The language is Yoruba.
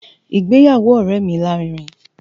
Ìgbéyàwó ọ̀rẹ́ mi lárinrin